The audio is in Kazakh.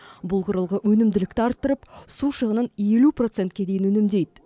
бұл құрылғы өнімділікті арттырып су шығынын елу процентке дейін үнемдейді